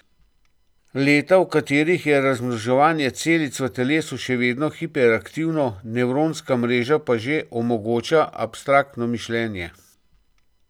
Leta, v katerih je razmnoževanje celic v telesu še vedno hiperaktivno, nevronska mreža pa že omogoča abstraktno mišljenje.